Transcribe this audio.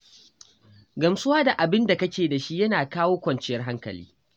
Gamsuwa da abin da kake da shi yana kawo kwanciyar hankali.